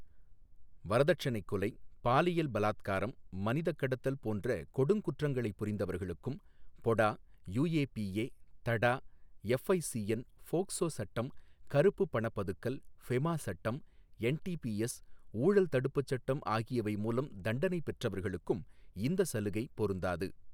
வரதட்சணைக் கொலை, பாலியல் பலாத்காரம், மனிதக் கடத்தல் போன்ற கொடுங்குற்றங்களை புரிந்தவர்களுக்கும், POTA, UAPA, TADA, FICN, POCSO சட்டம், கருப்பு பண பதுக்கல், பெஃமா சட்டம், என்டிபிஎஸ், ஊழல் தடுப்புச் சட்டம் ஆகியவை மூலம் தண்டனைப் பெற்றவர்களுக்கும் இந்த சலுகை பொருந்தாது.